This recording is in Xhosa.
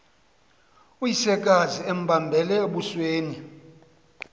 uyisekazi embambele embusweni